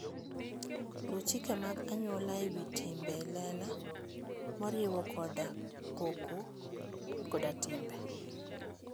Luw chike mag anyuola e wi timbe e lela, moriwo koda koko koda timbe.